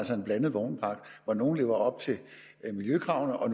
får en blandet vognpark hvor nogle lever op til miljøkravene og